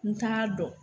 N t'a dɔn